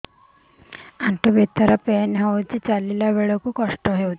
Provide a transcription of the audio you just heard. ଆଣ୍ଠୁ ଭିତରେ ପେନ୍ ହଉଚି ଚାଲିଲା ବେଳକୁ କଷ୍ଟ ହଉଚି